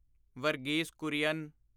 Verghese Kurian